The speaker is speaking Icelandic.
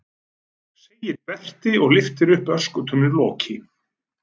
segir Berti og lyftir upp öskutunnuloki.